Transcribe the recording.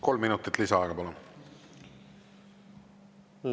Kolm minutit lisaaega, palun!